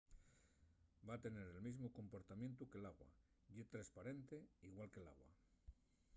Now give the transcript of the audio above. va tener el mesmu comportamientu que l’agua. ye tresparente igual que l’agua